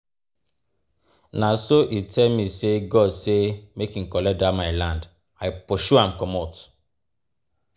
Na so e tell me sey God say make im collect dat my land, I pursue am comot.